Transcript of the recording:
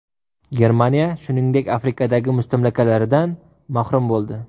Germaniya, shuningdek, Afrikadagi mustamlakalaridan mahrum bo‘ldi.